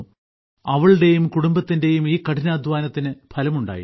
അവളുടെയും കുടുംബത്തിന്റെയും ഈ കഠിനാധ്വാനത്തിന് ഫലമുണ്ടായി